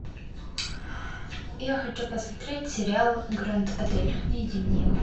я хочу посмотреть сериал гранд отель найди мне его